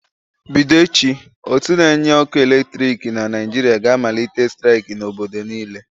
Bido echi, ótú na-enye ọkụ eletriki na Naịjirịa ga-amalite staịk n'obodo niile.